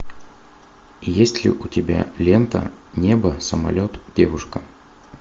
есть ли у тебя лента небо самолет девушка